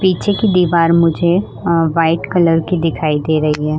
पीछे की दीवार मुझे वाइट कलर की दिखाई दे रही है।